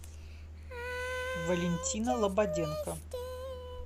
валентина лободенко